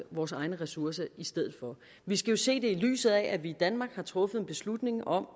vores egne ressourcer i stedet for vi skal jo se det i lyset af at vi i danmark har truffet en beslutning om